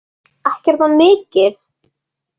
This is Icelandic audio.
Ekki er það mikið!